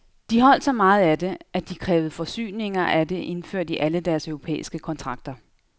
De holdt så meget af det, at de krævede forsyninger af det indført i alle deres europæiske kontrakter.